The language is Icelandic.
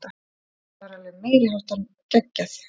Það var alveg meiriháttar geggjað.